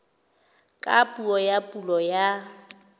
ka puo ya pulo ya